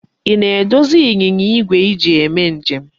Ị na-edozi ịnyịnya igwe i ji eme njem?